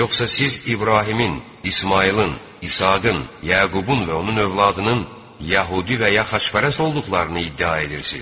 Yoxsa siz İbrahimin, İsmayılın, İsaqın, Yaqubun və onun övladının yəhudi və ya xaçpərəst olduqlarını iddia edirsiz?